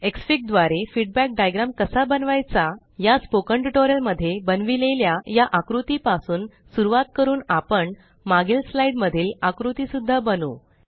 Xfig द्वारे feedback diagram कसा बनवायचा या स्पोकेन ट्यूटोरियल मध्ये बनविलेल्या या आकृती पासून सुरवात करून आपण मागील स्लाईड मधील आकृती सुद्धा बनवू